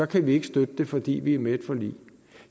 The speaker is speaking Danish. kan vi ikke støtte det fordi vi er med i et forlig